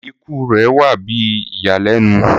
Ikú rẹ wà bí ìyànlènu